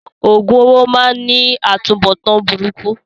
Òògùn owó máá ń ní atunbọ̀tán burúkú